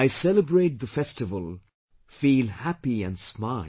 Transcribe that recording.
I celebrate the festival, feel happy and smile